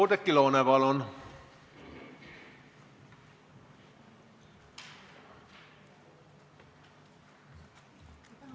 Oudekki Loone, palun!